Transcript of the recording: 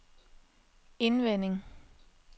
indvendig